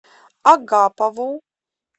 агапову